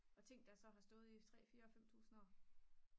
og ting der så har stået i 3 4 5000 år